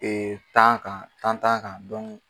tan kan, tan-tan kan